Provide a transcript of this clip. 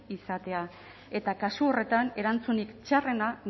izatea eta kasu horretan erantzunik txarrena